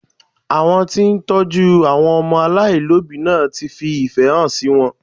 Àwọn tó ń tọ́jú àwọn ọmọ aláìlóbìí náà fi ìfẹ́ hàn sí wọn